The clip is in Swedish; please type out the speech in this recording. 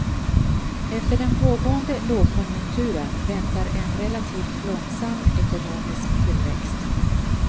Efter den pågående lågkonjunkturen väntar en relativt långsam ekonomisk tillväxt.